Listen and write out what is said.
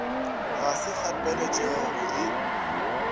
ga se kgapeletšego go e